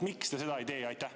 Miks te seda ei tee?